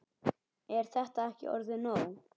Er þetta ekki orðið nóg?